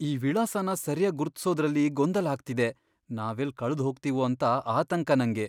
ಈ ವಿಳಾಸನ ಸರ್ಯಾಗ್ ಗುರ್ತಿಸೋದ್ರಲ್ಲಿ ಗೊಂದಲ ಆಗ್ತಿದೆ. ನಾವೆಲ್ಲ್ ಕಳ್ದ್ಹೋಗ್ತೀವೋ ಅಂತ ಆತಂಕ ನಂಗೆ.